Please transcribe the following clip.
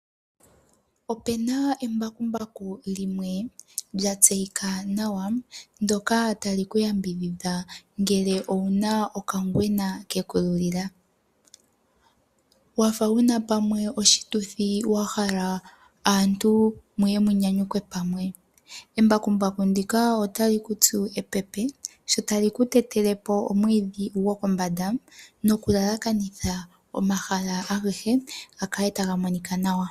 Opena embakumbaku limwe lya tseyika nawa , ndyoka tali ku yambidhidha ngele owuna okangwena ke ku lulila. Wafa wuna pamwe oshituthi wa hala aantu muye mu nyanyukwe pamwe, embakumbaku ndika otali ku tsu epepe, sho tali ku tetele po omwiidhi gokombanda ,noku lalakanitha omahala agehe ,ga kale taga monika nawa.